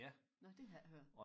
Nåh det har jeg ikke hørt